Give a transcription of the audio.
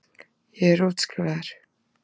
Ég er útskrifaður.